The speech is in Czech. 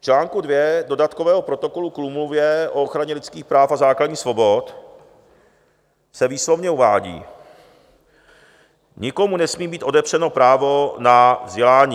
V článku 2 Dodatkového protokolu k Úmluvě o ochraně lidských práv a základních svobod se výslovně uvádí: "Nikomu nesmí být odepřeno právo na vzdělání."